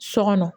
So kɔnɔ